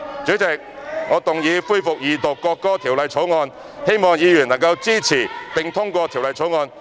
主席，我動議恢復二讀《條例草案》，希望議員能支持並通過《條例草案》。